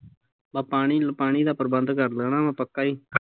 ਬਸ ਪਾਣੀ ਦਾ ਪਾਣੀ ਦਾ ਪ੍ਰਬੰਦ ਕਰ ਲੈਣਾ ਵਾਂ ਪੱਕਾ ਈ